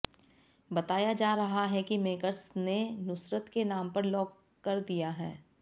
बताया जा रहा है कि मेकर्स ने नुसरत के नाम पर लॉक कर दिया है